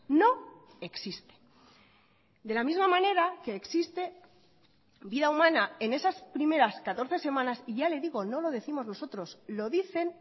no existe de la misma manera que existe vida humana en esas primeras catorce semanas y ya le digo no lo décimos nosotros lo dicen